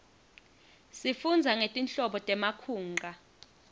sifundza ngetinhlobo temakhunqa